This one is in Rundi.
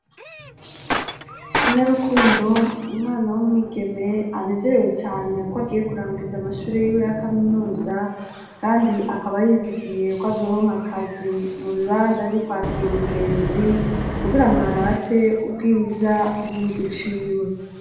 Inarukundo, umwana w'umwigeme, anezerewe cane ko agiye kurangiza amashure yiwe ya kaminuza kandi akaba yizigiye ko azoronka akazi mu bibanza vyo kwakira ingenzi kugira ngo arate ubwiza bw'igihugu ciwe.